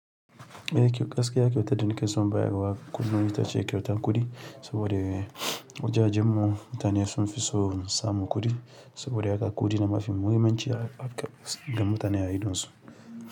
E to gaskiya kyautar da nikeso bayarwa kullum ita ce kyauta kuɗi saboda wajen wajen mu mutane sun fi so samu kuɗi saboda haka kuɗi ne mafi muhimmanci ga mutane a ido su.